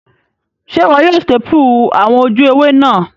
Sé wo yio staple àwon ojú ewé náà